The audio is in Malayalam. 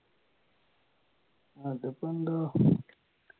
അതിപ്പോ എന്താ